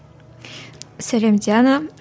сәлем диана